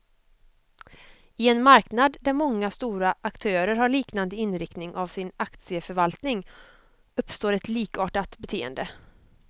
I en marknad där många stora aktörer har liknande inriktning av sin aktieförvaltning, uppstår ett likartat beteende.